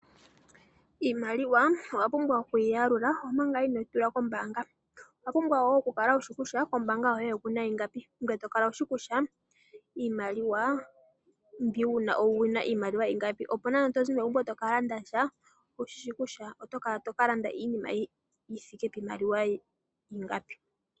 Iimaliwa owa pumbwa okuyi ya lula omanga ino yi tula kombanga, owa pumbwa wo okukala wushi kutya kombanga yoye okuna ingapi ngoye to kala wushi kutya iimaliwa mbi wu na owuna iimaliwa ingapi opi nande to zimo megumbo toka landasha owu shishi kutya oto ka landa iinima yithike piimaliwa ingapi.